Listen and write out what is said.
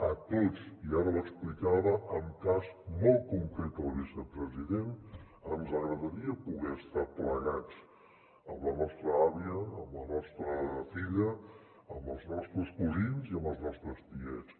a tots i ara ho explicava amb cas molt concret el vicepresident ens agradaria poder estar plegats amb la nostra àvia amb la nostra filla amb els nostres cosins i amb els nostres tiets